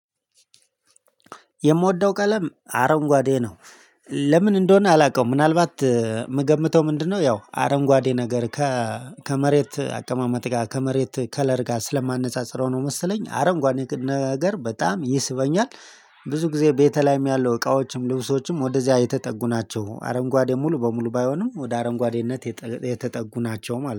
የምወደው ቀለም አረንጓዴ ነው። ለምን እንደሆነ አላውቀውም ምናልባት የምገምተው ምንድነው? ያው አረንጓዴ ነገር ከመሬት አቀማመጥ ጋር ከመሬት ከለር ጋር ስለማነጻጽረው ነው መሰለኝ አረንጓዴ ነገር በጣም ይስበኛል። ብዙ ጊዜ ቤቴ ላይም ያለው እቃዎችም ልብሶችም ወደዚያ የተጠጉ ናቸው። አረንጓዴ ሙሉ በሙሉ ባይሆንም ወደ አረንጓዴነት የተጠጉ የተጠጉ ናቸው ማለት ነው